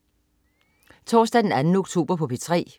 Torsdag den 2. oktober - P3: